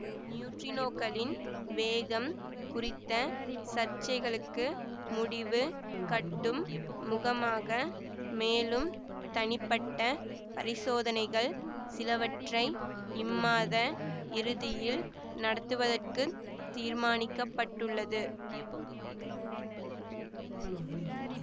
நியூட்ரினோக்களின் வேகம் குறித்த சர்ச்சைகளுக்கு முடிவு கட்டும் முகமாக மேலும் தனிப்பட்ட பரிசோதனைகள் சிலவற்றை இம்மாத இறுதியில் நடத்துவதற்குத் தீர்மானிக்கப்பட்டுள்ளது